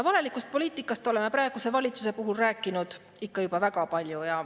Valelikust poliitikast oleme praeguse valitsuse puhul rääkinud ikka juba väga palju.